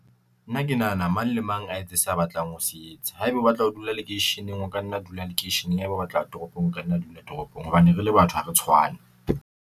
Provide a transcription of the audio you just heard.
Nna ke nahana mang le mang a etse sa batlang ho se etsa. Haeba o batla ho dula lekeisheneng, o ka nna a dula lekeisheneng haeba o batla toropong, o ka nna dula toropong hobane rele batho ha re tshwane.